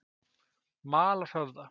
Malarhöfða